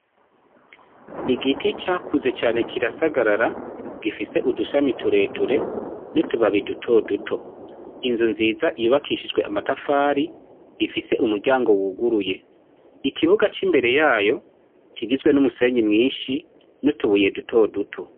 Igiti cakuze cane kirasagarara gifise udushami tureture n'utubabi duto duto, inzu nziza yubakishijwe amatafari ifise umuryango wuguruye, ikibuga c'imbere yayo kigizwe n'umusenyi mwinshi n'utubuye duto duto.